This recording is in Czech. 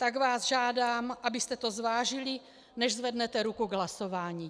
Tak vás žádám, abyste to zvážili, než zvednete ruku k hlasování.